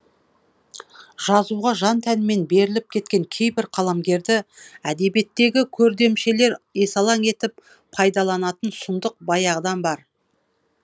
жазуға жан тәнімен беріліп кеткен кейбір қаламгерді әдебиеттегі көрдемшелер есалаң етіп пайдаланатын сұмдық баяғыдан бар